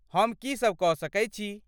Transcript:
हम कीसब कऽ सकैत छी?